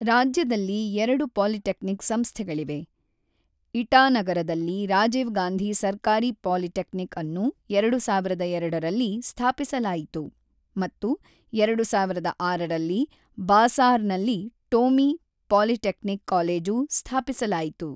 ರಾಜ್ಯದಲ್ಲಿ ಎರಡು ಪಾಲಿಟೆಕ್ನಿಕ್ ಸಂಸ್ಥೆಗಳಿವೆ: ಇಟಾನಗರದಲ್ಲಿ ರಾಜೀವ್ ಗಾಂಧಿ ಸರ್ಕಾರಿ ಪಾಲಿಟೆಕ್ನಿಕ್ ಅನ್ನು ಎರಡು ಸಾವಿರದ ಎರಡರಲ್ಲಿ ಸ್ಥಾಪಿಸಲಾಯಿತು ಮತ್ತು ಎರಡು ಸಾವಿರದ ಆರರಲ್ಲಿ ಬಾಸಾರ್‌ನಲ್ಲಿ ಟೋಮಿ ಪಾಲಿಟೆಕ್ನಿಕ್ ಕಾಲೇಜು ಸ್ಥಾಪಿಸಲಾಯಿತು.